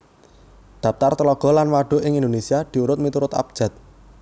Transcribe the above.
Dhaptar Tlaga lan Wadhuk ing Indonésia diiurut miturut abjad